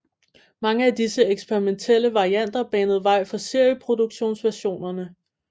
Mange af disse eksperimentelle varianter banede vejen for serieproduktionsversionerne